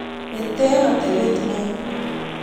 mete atebet nea